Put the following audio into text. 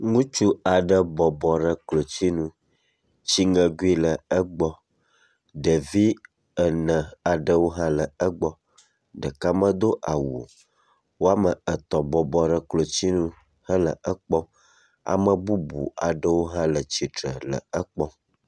Ŋutsu aɖe bɔbɔ ɖe klotsinu, tsi ŋɛkui aɖe le egbɔ, ɖevi ene aɖewo hã le egbɔ, ɖeka medo awu o, wome etɔ̃ bɔbɔ ɖe klotsinu hele ekpɔm, ame bubu aɖewo hã le tsitre le ekpɔm